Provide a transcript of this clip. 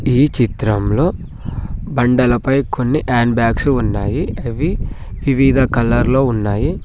ఈ చిత్రంలో బండలపై కొన్ని హ్యాండ్ బ్యాగ్స్ ఉన్నాయి అవి వివిధ కలర్లో ఉన్నాయి.